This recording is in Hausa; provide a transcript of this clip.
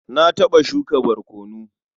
Na taɓa shuka barkono.